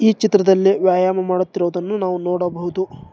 ಚಿತ್ರದಲ್ಲಿ ವ್ಯಾಯಾಮ ಮಾಡುತ್ತಿರುದನ್ನು ನಾವು ನೋಡಬಹುದು.